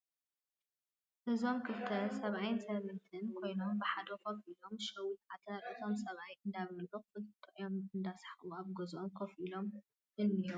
እዞም ክልተ ሰባት ሰባአይን ሰበይትን ኮይኖም ብሓደ ከፊ ኢሎም ሸዊት ዓተር እቶም ሰባአይ እዳበሊዑ ክልተኦም እዳሳሓቁ አብ ገዝኦም ከፊ ኢሎም እነሂቡ።